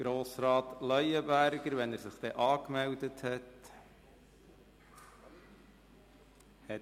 Grossrat Leuenberger hat das Wort, sobald er sich angemeldet hat.